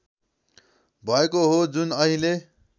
भएको हो जुन अहिले